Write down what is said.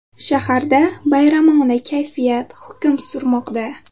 Shaharda bayramona kayfiyat hukm surmoqda.